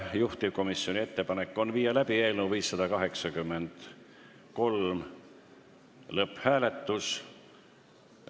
Juhtivkomisjoni ettepanek on viia läbi eelnõu 583 lõpphääletus.